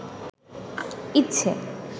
ইচ্ছে